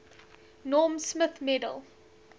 norm smith medal